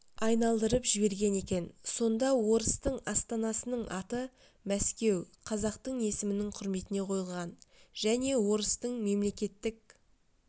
айналдырып жіберген екен сонда орыстың астанасының аты мәскеу қазақтың есімінің құрметіне қойылған және орыстың мемлекеттік